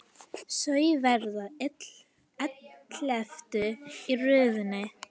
Þau verða elleftu í röðinni.